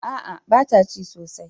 A'a ba ta cin sosaj